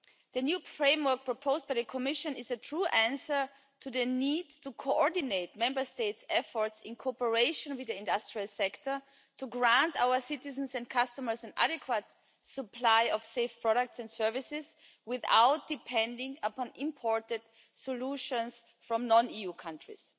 The new framework proposed by the Commission is a true answer to the need to coordinate Member States' efforts in cooperation with the industrial sector to grant our citizens and customers an adequate supply of safe products and services without depending upon imported solutions from non EU countries.